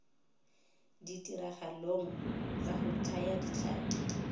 ditiragalong tsa go thaya ditlhapi